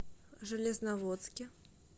железноводске